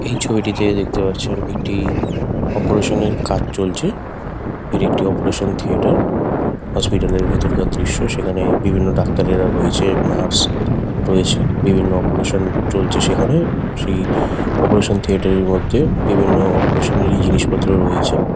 এই ছবিটিতে দেখতে পারছেন একটি অপোরেশন -এর কাজ চলছে। এটি একটি অপোরেশন থিয়েটার হসপিটাল -এর ভেতরকার দৃশ্য। সেখানে বিভিন্ন ডাক্তারেরা রয়েছে নার্স রয়েছে। বিভিন্ন অপোরেশন চলছে সেখানে । সেই অপোরেশন থিয়েটার -এর মধ্যে বিভিন্ন অপোরেশন -এরই জিনিসপত্র রয়েছে।